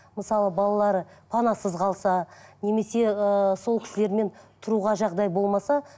мысалы балалары панасыз қалса немесе ыыы сол кісілермен тұруға жағдай болмаса